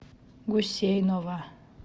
гусейнова